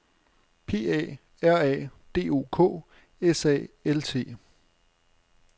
P A R A D O K S A L T